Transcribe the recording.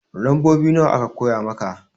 Lambobi nawa aka koya maka?